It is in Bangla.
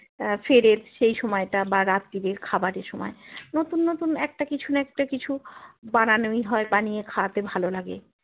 আহ ফেরে সেই সময়টা বা রাত্রে খাবার এর সময় নতুন নতুন একটা কিছু না একটা কিছু বানানোই হয় বানিয়ে খাওয়াতে ভালো লাগে